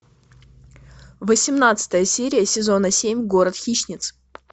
восемнадцатая серия сезона семь город хищниц